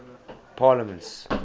parliaments